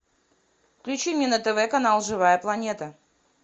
включи мне на тв канал живая планета